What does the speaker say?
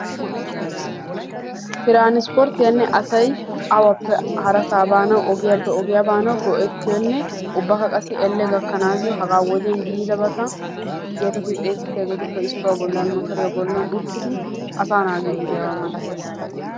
Transporttiyanne asay awappe harassa baanaw ogiyappe ogiyaa baanaw go"ettiyonne ubba qa elle gakkanayo haga wodiyaa yiidabata getetti xeessetiyaaga bollan motoriya bollan uttidi asa naagide diyaaba masatees.